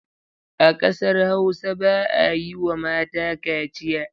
A kasar Hausa ba a yiwa mata kaciya.